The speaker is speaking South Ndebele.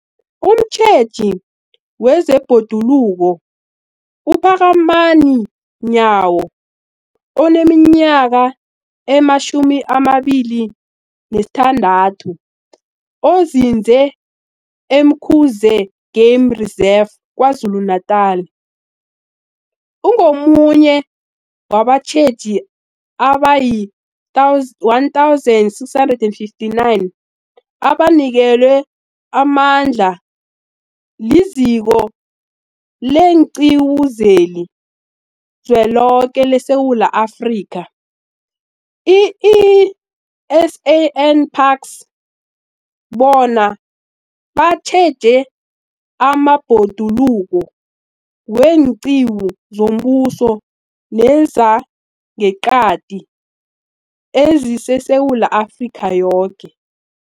Umtjheji wezeBhoduluko uPhakamani Nyawo oneminyaka ema-26, onzinze e-Umkhuze Game Reserve KwaZulu-Natala, ungomunye wabatjheji abayi-1 659 abanikelwe amandla liZiko leenQiwu zeliZweloke leSewula Afrika, i-SANParks, bona batjheje amabhoduluko weenqiwu zombuso nezangeqadi ezingeSewula Afrika yoke.